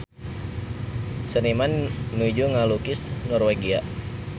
Seniman nuju ngalukis Norwegia